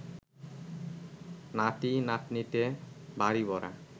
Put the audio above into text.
নাতি নাতনিতে বাড়ি ভরা